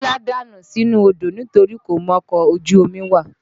Kọ́lá dànù sínú odó nitorí kò mọkọ̀ ojú omi wà